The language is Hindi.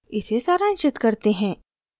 इसे सारांशित करते हैं